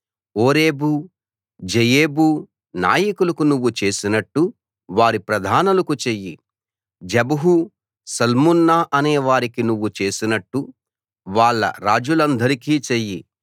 Oreb Zeeb నాయకులకు నువ్వు చేసినట్టు వారి ప్రధానులకు చెయ్యి జెబహు సల్మున్నా అనే వారికి నువ్వు చేసినట్టు వాళ్ళ రాజులందరికీ చెయ్యి